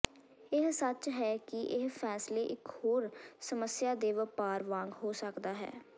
ਇਹ ਸੱਚ ਹੈ ਕਿ ਇਹ ਫ਼ੈਸਲੇ ਇਕ ਹੋਰ ਸਮੱਸਿਆ ਦੇ ਵਪਾਰ ਵਾਂਗ ਹੋ ਸਕਦਾ ਹੈ